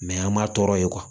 Mɛ an m'a tɔɔrɔ ye